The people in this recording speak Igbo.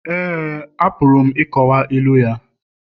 Éè, apụrụ m ịkọwa ilu ya